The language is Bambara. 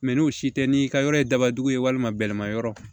Mɛ n'o si tɛ n'i ka yɔrɔ ye dabajugu ye walima bɛlɛma yɔrɔ